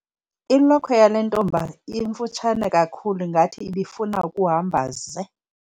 Ilokhwe yale ntombi imfutshane kakhulu ngathi ibifuna ukuhamba ze.